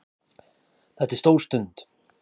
Þetta er stór stund